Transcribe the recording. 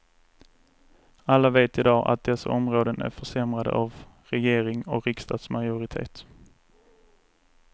Alla vet idag att dessa områden är försämrade av regering och riksdagsmajoritet.